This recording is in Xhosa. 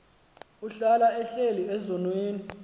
ohlala ehleli ezonweni